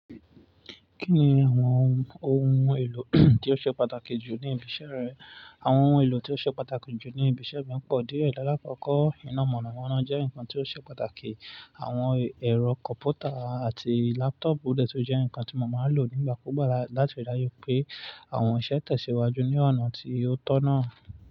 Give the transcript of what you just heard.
Kí ni àwọn ohun èlò tí ó ṣe pàtàkì jù ní ibi iṣẹ́ rẹ? Àwọn ohun èlò tí ó ṣe pàtàkì jù ní ibi iṣẹ́ mi pọ̀ díẹ̀. Láàkọ́kọ́, iná mọ̀nàmọ́ná jẹ́ nǹkan tí ó ṣe pàtàkì. Àwọn ẹ̀rọ kọ̀mpútà àti lápútọ̀ùpù dẹ̀ tó jẹ́ ǹkan tí mo máa lò nígbà kúgbà láti rí i dájú pé àwọn iṣẹ́ tẹ̀síwájú ní ọ̀nà tí ó tọ̀nà.